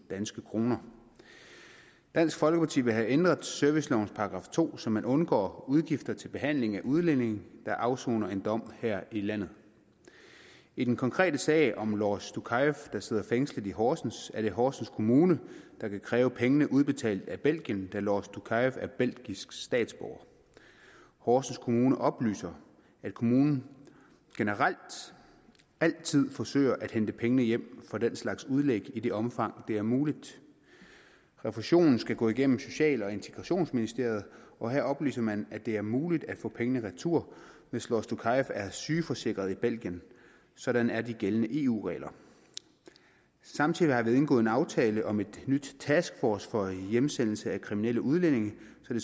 danske kroner dansk folkeparti vil have ændret servicelovens § to så man undgår udgifter til behandling af udlændinge der afsoner en dom her i landet i den konkrete sag om lors doukaev der sidder fængslet i horsens er det horsens kommune der kan kræve pengene udbetalt af belgien da lors doukaev er belgisk statsborger horsens kommune oplyser at kommunen generelt altid forsøger at hente pengene hjem fra den slags udlæg i det omfang det er muligt refusionen skal gå igennem social og integrationsministeriet og her oplyser man at det er muligt at få pengene retur hvis lors doukaev er sygeforsikret i belgien sådan er de gældende eu regler samtidig har vi indgået en aftale om en ny taskforce for hjemsendelse af kriminelle udlændinge